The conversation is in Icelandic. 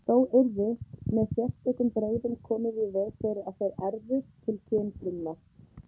Þó yrði með sérstökum brögðum komið í veg fyrir að þeir erfðust til kynfrumna.